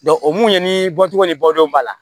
o mun ye ni bɔcogo ni bɔdenw b'a la